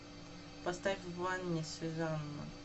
поставь в ванне сюзанна